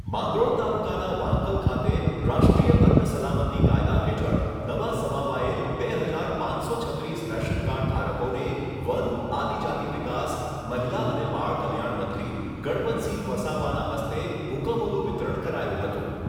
માંગરોળ તાલુકાના વાંકલ ખાતે રાષ્ટ્રીય અન્ન સલામતી કાયદા હેઠળ નવા સમાવાયેલ બે હજાર પાંચસો છત્રીસ રેશનકાર્ડ ઘારકોને વન, આદિજાતિ વિકાસ, મહિલા અને બાળકલ્યાણ મંત્રી ગણપતસિંહ વસાવાના હસ્તે હુકમોનું વિતરણ કરાયું હતું.